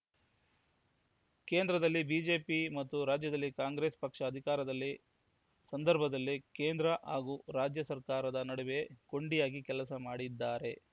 ಕೇಂದ್ರದಲ್ಲಿ ಬಿಜೆಪಿ ಮತ್ತು ರಾಜ್ಯದಲ್ಲಿ ಕಾಂಗ್ರೆಸ್‌ ಪಕ್ಷ ಅಧಿಕಾರದಲ್ಲಿ ಸಂದರ್ಭದಲ್ಲಿ ಕೇಂದ್ರ ಹಾಗೂ ರಾಜ್ಯ ಸರ್ಕಾರದ ನಡುವೆ ಕೊಂಡಿಯಾಗಿ ಕೆಲಸ ಮಾಡಿದ್ದಾರೆ